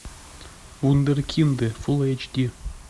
вундеркинды фул эйч ди